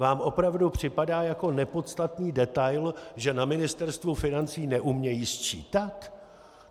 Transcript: Vám opravdu připadá jako nepodstatný detail, že na Ministerstvu financí neumějí sčítat?